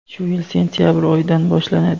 shu yil sentyabr oyidan boshlanadi.